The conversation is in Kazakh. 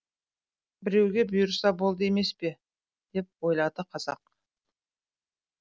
біреуге бұйырса болды емес пе деп ойлады қазақ